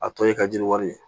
A tɔ ye ka jiri wari